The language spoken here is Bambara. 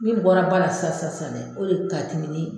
Min bɔra ba la sisan sisan sisan dɛ o de ka timi ni